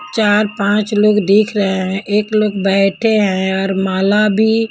चार पांच लोग दिख रहे हैं एक लोग बैठे हैं और माला भी--